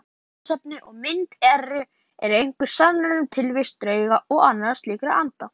Frekara lesefni og mynd Eru einhverjar sannanir um tilvist drauga og annarra slíkra anda?